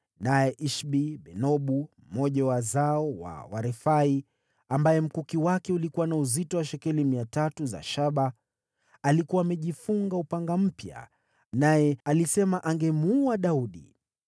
Naye Ishbi-Benobu, mmoja wa wazao wa Warefai, ambaye mkuki wake ulikuwa na uzito wa shekeli 300 za shaba, alikuwa amejifunga upanga mpya, naye alisema angemuua Daudi.